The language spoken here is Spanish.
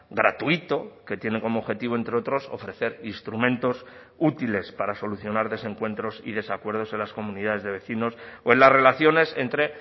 gratuito que tiene como objetivo entre otros ofrecer instrumentos útiles para solucionar desencuentros y desacuerdos en las comunidades de vecinos o en las relaciones entre